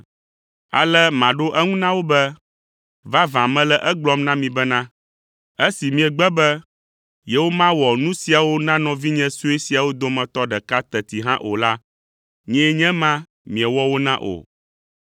“Ale maɖo eŋu na wo be, ‘Vavã, mele egblɔm na mi bena, esi miegbe be yewomawɔ nu siawo na nɔvinye sue siawo dometɔ ɖeka teti hã o la, nyee nye ema miewɔ wo na o.’